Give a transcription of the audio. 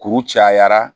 Kuru cayara